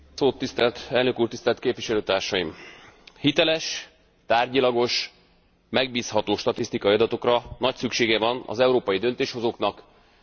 Hiteles, tárgyilagos, megbízható statisztikai adatokra nagy szüksége van az európai döntéshozóknak, a vállalkozásoknak és az európai polgároknak is.